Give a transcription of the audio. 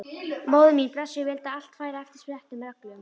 Móðir mín blessuð vildi að allt færi eftir settum reglum.